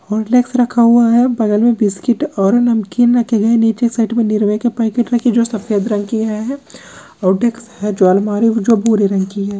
Bulb रखा हुआ है बगल मै बिस्किट नमकीन रखे गए है साइड मै निर्वे के पैकेट रखे है जो सफेद रंग की है अलमारी है जो भूरे रंग की है।